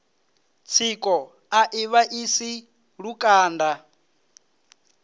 tsiko a i vhaisi lukanda